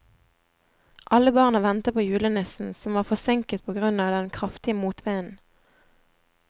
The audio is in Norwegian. Alle barna ventet på julenissen, som var forsinket på grunn av den kraftige motvinden.